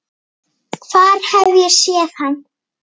Hvar hef ég séð hann?